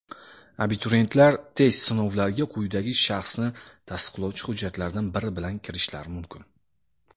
Abituriyentlar test sinovlariga quyidagi shaxsni tasdiqlovchi hujjatlardan biri bilan kirishlari mumkin:.